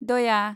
दया